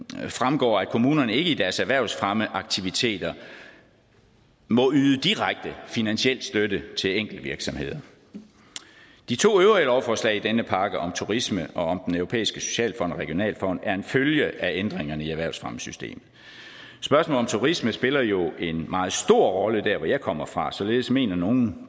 tres fremgår at kommunerne ikke i deres erhvervsfremmeaktiviteter må yde direkte finansiel støtte til enkeltvirksomheder de to øvrige lovforslag i denne pakke om turisme og om den europæiske socialfond og regionalfond er en følge af ændringerne i erhvervsfremmesystemet spørgsmålet om turismen spiller jo en meget stor rolle der hvor jeg kommer fra således mener nogle